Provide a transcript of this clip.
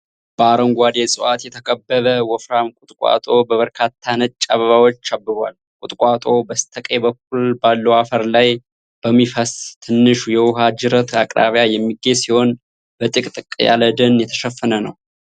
በአረንጓዴ ዕፅዋት የተከበበ ወፍራም ቁጥቋጦ በበርካታ ነጭ አበባዎች አብቧል። ቁጥቋጦው በስተቀኝ በኩል ባለው አፈር ላይ በሚፈስስ ትንሽ የውሃ ጅረት አቅራቢያ የሚገኝ ሲሆን፤ በጥቅጥቅ ያለ ደን የተሸፈነ ነው።